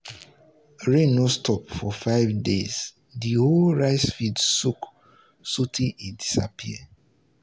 rain no stop for five days the whole rice field soak sotey e disappear.